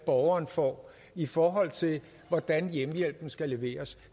borgeren får i forhold til hvordan hjemmehjælpen skal leveres